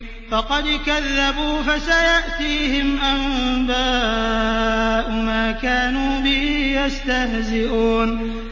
فَقَدْ كَذَّبُوا فَسَيَأْتِيهِمْ أَنبَاءُ مَا كَانُوا بِهِ يَسْتَهْزِئُونَ